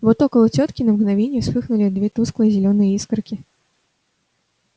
вот около тётки на мгновение вспыхнули две тусклые зелёные искорки